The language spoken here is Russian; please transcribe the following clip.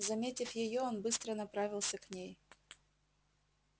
заметив её он быстро направился к ней